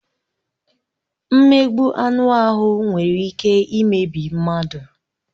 Mmegbu anụ ahụ nwere ike imebi mmadụ.